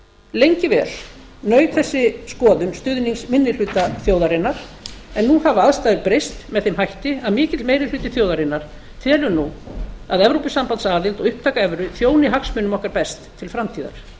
lengi vel naut þessi skoðun stuðnings minni hluta þjóðarinnar en nú hafa aðstæður breyst með þeim hætti að mikill meiri hluti þjóðarinnar telur nú að evrópusambandsaðild og upptaka evru þjóni hagsmunum okkar best til framtíðar